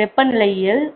வெப்பநிலையில்